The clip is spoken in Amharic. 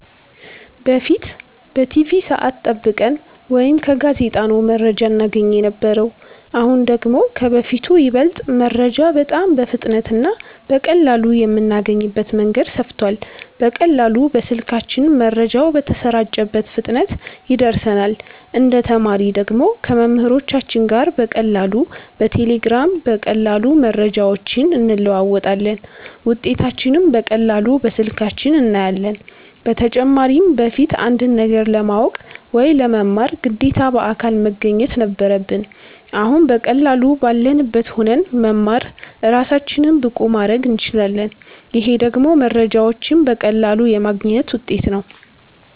በፊት በቲቪ ሰዐት ጠብቀን ወይ ከጋዜጣ ነው መረጃ እናገኝ የነበረው አሁን ደግሞ ከበፊቱ ይበልጥ መረጃ በጣም በፍጥነት እና በቀላሉ የምናገኝበት መንገድ ሰፍቷል በቀላሉ በስልካችን መረጃው በተሰራጨበት ፍጥነት ይደርሰናል እንደ ተማሪ ደግሞ ከመምህሮቻችን ጋር በቀላሉ በቴሌግራም በቀላሉ መረጃዎችን እንለዋወጣለን ውጤታችንንም በቀላሉ በስልካችን እናያለን በተጨማሪም በፊት አንድን ነገር ለማወቅ ወይ ለመማር ግዴታ በአካል መገኘት ነበረብን አሁን በቀላሉ ባለንበት ሁነን መማር እራሳችንን ብቁ ማረግ እንችላለን ይሄ ደግሞ መረጃዎችን በቀላሉ የማግኘት ውጤት ነው